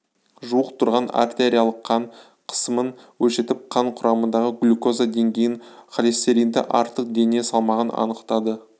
жуық тұрғын артериялық қан қысымын өлшетіп қан құрамындағы глюкоза деңгейін холестеринді артық дене салмағын анықтады